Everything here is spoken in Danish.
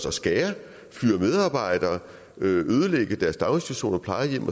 og skære fyre medarbejdere ødelægge deres daginstitutioner plejehjem